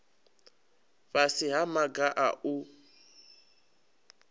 fhasi ha maga a u